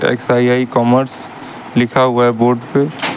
XII commerce लिखा हुआ है बोर्ड पे।